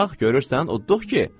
Bax, görürsən udduq ki?